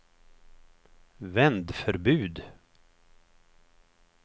vändförbud